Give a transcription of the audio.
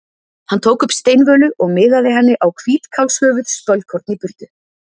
Hann tók upp steinvölu og miðaði henni á hvítkálshöfuð spölkorn í burtu.